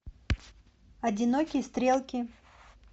одинокие стрелки